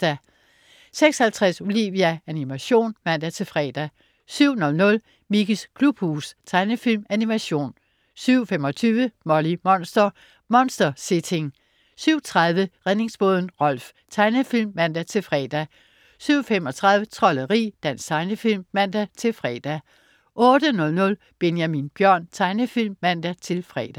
06.50 Olivia. Animation (man-fre) 07.00 Mickeys klubhus. Tegnefilm/Animation 07.25 Molly Monster. Monster-sitting 07.30 Redningsbåden Rolf. Tegnefilm (man-fre) 07.35 Trolderi. Dansk tegnefilm (man-fre) 08.00 Benjamin Bjørn. Tegnefilm (man-fre)